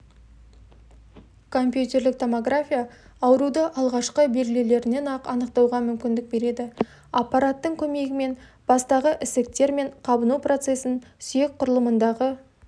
компьютерлік-томография ауруды алғашқы белгілерінен-ақ анықтауға мүмкіндік береді аппараттың көмегімен бастағы ісіктер мен қабыну процесін сүйек құрылымындағы